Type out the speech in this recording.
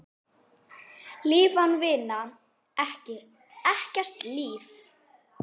Líf án vinar, ekkert líf.